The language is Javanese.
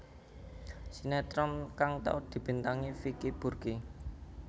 Sinétron kang tau dibintangi Vicky Burky